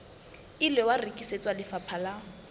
ile wa rekisetswa lefapha la